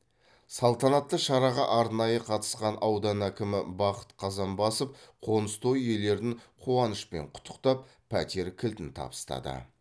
салтанатты шараға арнайы қатысқан аудан әкімі бақыт қазанбасов қоныс той иелерін қуанышпен құттықтап пәтер кілтін табыстады